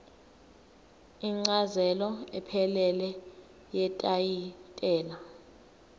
incazelo ephelele yetayitela